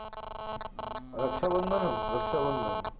રક્ષાબંધન જ રક્ષાબંધન